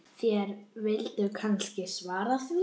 Náðu heldur í hann.